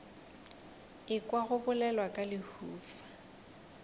ekwa go bolelwa ka lehufa